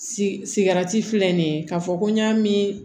Sigarati filɛ nin ye k'a fɔ ko n y'a min